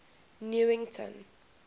newington